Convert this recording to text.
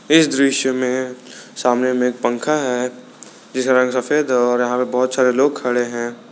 इस दृश्य में सामने में एक पंखा है जिसका रंग सफेद है और बहुत सारे लोग खड़े हैं।